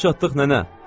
Gəlib çatdıq nənə.